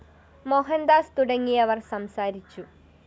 മോഹന്‍ ദാസ് തുടങ്ങിയവര്‍ സംസാരിച്ചു